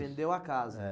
Vendeu a casa? É.